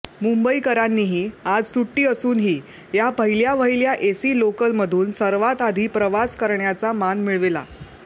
मुंबईकरांनीही आज सुट्टी असूनही या पहिल्यावहिल्या एसी लोकलमधून सर्वांत आधी प्रवास करण्याचा मान मिळविला